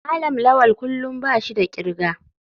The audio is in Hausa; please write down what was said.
malam lawal kullum bashi da kirga.